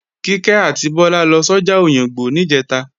Kíkẹ́ àti Bọ́lá lọ sọ́jà Òyìngbò níjẹ̀ta